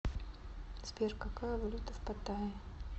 сбер какая валюта в паттайе